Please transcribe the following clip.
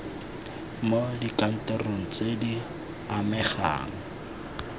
mo dikantorong tse di amegang